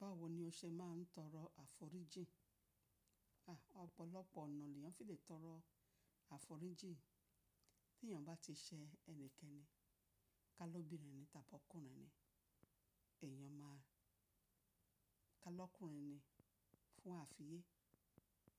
Báwo ni o ṣe máà ń tọrọ àforíjì? À, ọ̀pọ̀lọpọ̀ ọ̀nà ni èèyàn fi lè tọrọ àforíjì. Tí èèyàn bá ti ṣẹ ẹnikẹ́ni, kà ló obìnrin tàbí ọkùnrin ni, èyàn máa, kà lọ́kùnrin ni fún ààfin ye,